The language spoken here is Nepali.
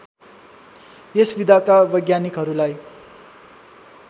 यस विधाका वैज्ञानिकहरूलाई